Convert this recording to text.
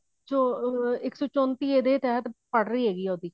ਜੋ ਇੱਕ ਸੋ ਚੋੰਤੀ ਇਹਦੇ ਤਹਿਤ ਪੜ੍ਹ ਰਹੀ ਹੈਗੀ ਆ ਉਹਦੀ